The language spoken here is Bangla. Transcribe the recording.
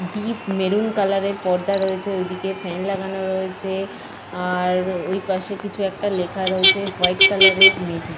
ডিপ মেরুন কালারের এর পর্দা রয়েছে। ঐদিকে ফ্যান লাগানো রয়েছে। আর ওইপাশে কিছু একটা রয়েছে। ওয়াইট কালার এর মেঝে।